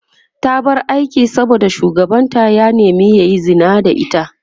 ta bar aikin saboda shugabanta ya nema yayi Zina da ita